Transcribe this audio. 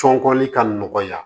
Tɔn kɔni ka nɔgɔya